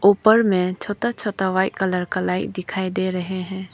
ऊपर में छोटा छोटा वाइट कलर का लाइट दिखाई दे रहे है।